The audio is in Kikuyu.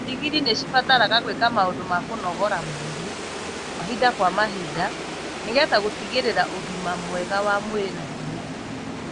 ndigiri nĩ cibataraga gwĩka maũndũ ma kũnogora mwĩrĩ mahinda kwa mahinda nĩ getha gũtigĩrira ũgima mwega wa mwĩrĩ na hinya.